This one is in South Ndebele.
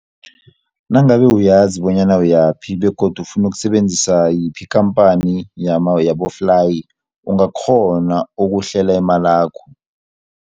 Nangabe uyazi bonyana uyaphi begodu ufuna ukusebenzisa yiphi ikhamphani yaboflayi ungakghona ukuhlela imalakho.